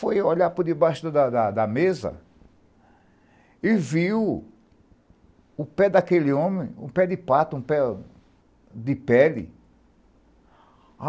foi olhar por debaixo da mesa e viu o pé daquele homem, um pé de pato, um pé de pele.